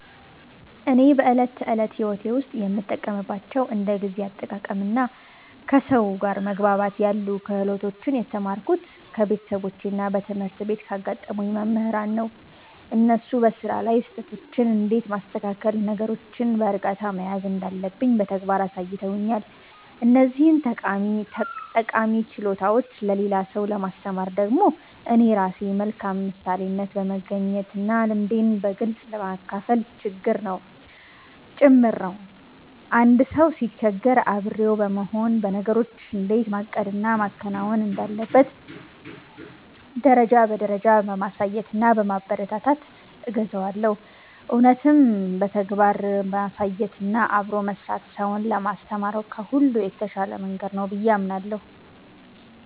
እኔ በዕለት ተዕለት ሕይወቴ ውስጥ የምጠቀምባቸውን እንደ ጊዜ አጠቃቀምና ከሰው ጋር መግባባት ያሉ ክህሎቶችን የተማርኩት ከቤተሰቦቼና በትምህርት ቤት ካጋጠሙኝ መምህራን ነው። እነሱ በሥራ ላይ ስህተቶችን እንዴት ማስተካከልና ነገሮችን በዕርጋታ መያዝ እንዳለብኝ በተግባር አሳይተውኛል። እነዚህን ጠቃሚ ችሎታዎች ለሌላ ሰው ለማስተማር ደግሞ እኔ ራሴ በመልካም ምሳሌነት በመገኘትና ልምዴን በግልጽ በማካፈል ጭምር ነው። አንድ ሰው ሲቸገር አብሬው በመሆን፣ ነገሮችን እንዴት ማቀድና ማከናወን እንዳለበት ደረጃ በደረጃ በማሳየትና በማበረታታት እገዘዋለሁ። እውነትም በተግባር ማሳየትና አብሮ መሥራት ሰውን ለማስተማር ከሁሉ የተሻለ መንገድ ነው ብዬ አምናለሁ።